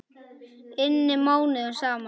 inni mánuðum saman.